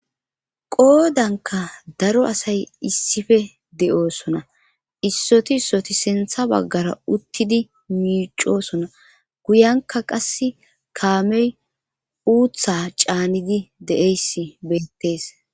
Qoodanka daro asay issife de7oosona issoti ssoti sintha baggara uttidi miicosona guyanka qass kaamey uutha caanidi de7eyss beettees.